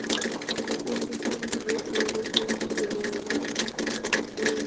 kundisa mureili u fhirela vhuṋwe